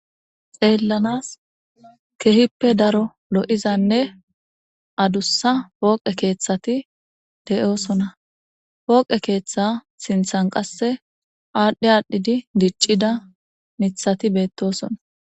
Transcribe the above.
xeellanas kehippe daro lo7izanne adussa pooqe keeththati de7oosona pooqe keeththa sinthan qasse aadhdhi aadhdhidi diccida nithati beettosona